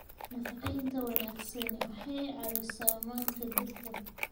nafaqaynta wanaagsani waxay caawisaa manka dhirta